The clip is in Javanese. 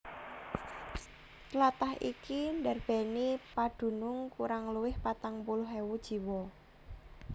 Tlatah iki ndarbèni padunung kurang luwih patang puluh ewu jiwa